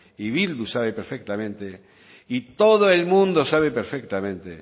y bildu sabe perfectamente y todo el mundo sabe perfectamente